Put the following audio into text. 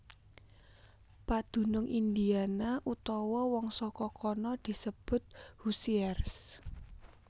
Padunung Indiana utawa wong saka kana disebut Hoosiers